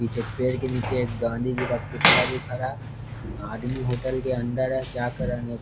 पीछे पेड़ के नीचे गांधीजी पुतला भी खड़ा है आदमी होटल के अंदर है क्या कर रहा नय --